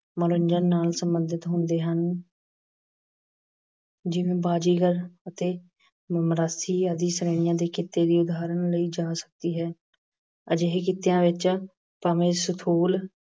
ਮਨੋਰੰਜਨ ਨਾਲ ਸਬੰਧਿਤ ਹੁੰਦੇ ਹਨ। ਜਿਵੇਂ ਬਾਜੀਗਰ ਅਤੇ ਮਰਾਸੀ ਆਦਿ ਸ਼੍ਰੇਣੀਆਂ ਦੇ ਕਿੱਤੇ ਦੀ ਉਦਾਹਰਣ ਲਈ ਜਾ ਸਕਦੀ ਹੈ। ਅਜਿਹੇ ਕਿੱਤਿਆਂ ਵਿੱਚ ਭਾਵੇਂ ਸਥੂਲ